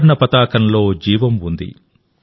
త్రివర్ణ పతాకంలో జీవం ఉంది